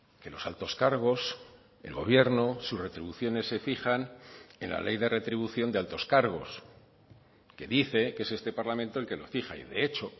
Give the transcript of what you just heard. que los altos cargos el gobierno sus retribuciones se fijan en la ley de retribución de altos cargos que dice que es este parlamento el que lo fija y de hecho